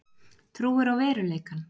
Trúir á veruleikann.